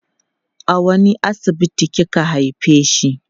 a wani asibiti kika haifeshi